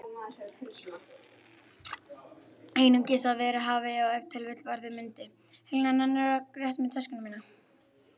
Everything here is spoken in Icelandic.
Einungis að verið hafi og ef til vill verða mundi.